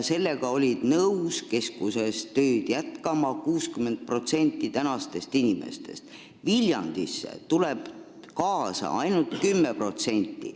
Siis olnuks nõus keskuses tööd jätkama 60% inimestest, Viljandisse läheb kaasa ainult 10%.